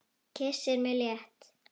Kyssir mig létt.